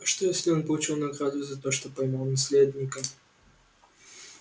а что если он получил награду за то что поймал наследника